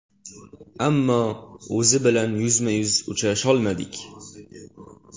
Ammo o‘zi bilan yuzma-yuz uchrasholmadik.